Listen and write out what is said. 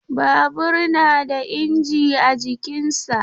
Babur na da inji a jikinsa.